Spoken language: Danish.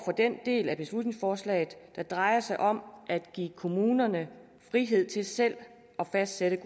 den del af beslutningsforslaget der drejer sig om at give kommunerne frihed til selv at fastsætte